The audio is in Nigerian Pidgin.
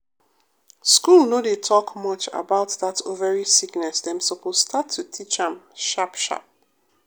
school no dey talk much about that ovary sickness dem suppose start to teach am sharp sharp.